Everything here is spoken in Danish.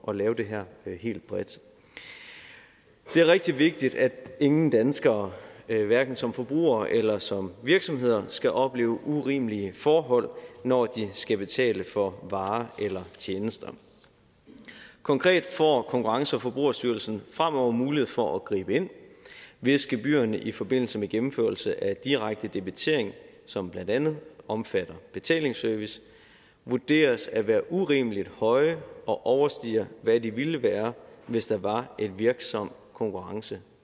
at lave det her helt bredt det er rigtig vigtigt at ingen danskere hverken som forbruger eller som virksomhed skal opleve urimelige forhold når de skal betale for varer eller tjenester konkret får konkurrence og forbrugerstyrelsen fremover mulighed for at gribe ind hvis gebyrerne i forbindelse med gennemførelse af direkte debitering som blandt andet omfatter betalingsservice vurderes at være urimelig høje og overstiger hvad de ville være hvis der var en virksom konkurrence